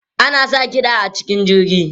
Ana sa kiɗa a cikin jirgi?